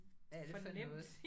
Hvad er det for noget